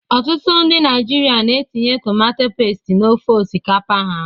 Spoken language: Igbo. Ọtụtụ ndị Naijiria na-etinye tomato pestu na ofe osikapa ha.